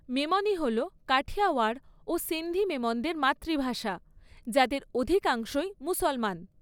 মেমনি হল কাঠিয়াওয়াড় ও সিন্ধি মেমনদের মাতৃভাষা, যাদের অধিকাংশই মুসলমান।